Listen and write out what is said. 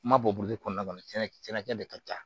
N ma bɔ kɔnɔna na tiɲɛna de ka ca